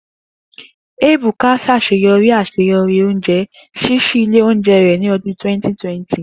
Ebuka ṣaṣeyọri aṣeyọri ounjẹ, ṣiṣi ile ounjẹ rẹ ni ọdun 2020.